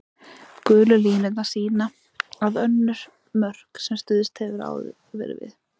Gulu línurnar sýna önnur mörk sem hefur áður verið stuðst við.